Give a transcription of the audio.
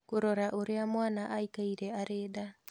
Kũrora ũria mwana aikaire arĩ nda